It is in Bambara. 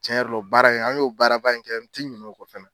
Cɛn yɛrɛ la o baara in an y'o baaraba in kɛ n te ɲinɛ o kɔ fɛnɛ